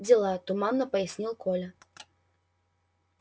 дела туманно пояснил коля